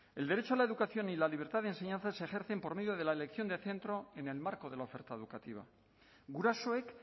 el derecho a la educación y la libertad de enseñanza se ejercen por medio de la elección de centro en el marco de la oferta educativa gurasoek